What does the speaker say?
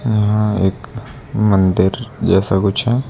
यहां एक मंदिर जैसा कुछ है।